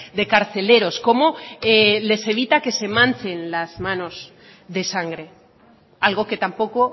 de carceleros cómo les evita que se manchen las manos de sangre algo que tampoco